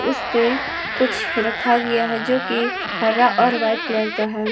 उसपे कुछ रखा गया है जो की हरा और वाइट कलर का है।